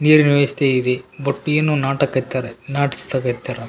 ನೀರಿನ ವ್ಯವಸ್ಥೆಇದೆ ಬಟ್ ಏನು ನಾಟಕ ಇತ್ತದೆ ನಾಟ್ಸ್ತಕೆತ್ತರ.